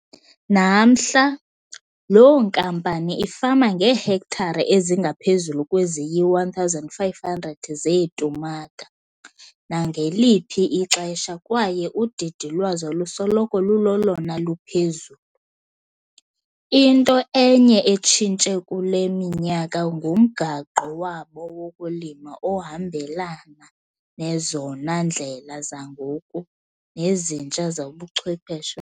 Namhla, loo nkampani ifama ngeehektare ezingaphezulu kweziyi-1 500 zeetumata nangeliphi ixesha kwaye udidi lwazo lusoloko lulolona luphezulu. Into enye etshintshe kule minyaka ngumgaqo wabo wokulima ohambelana nezona ndlela zangoku nezintsha zobuchwepheshe.